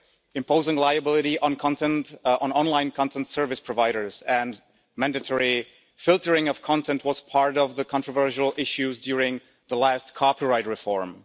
imposing liability on online content service providers and mandatory filtering of content were among the controversial issues during the last copyright reform.